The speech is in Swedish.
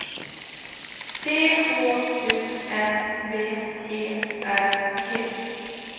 T H U N B E R G